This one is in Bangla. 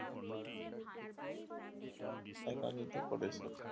একান্নিত করেছে